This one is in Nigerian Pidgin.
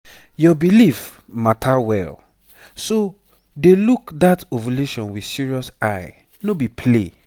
your belief matter well. so dey look that ovulation with serious eye no be play.